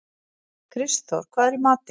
Kristþór, hvað er í matinn?